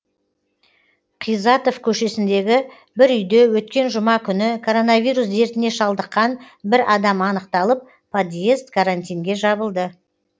қизатов көшесіндегі бір үйде өткен жұма күні коронавирус дертіне шалдыққан бір адам анықталып подьезд карантинге жабылды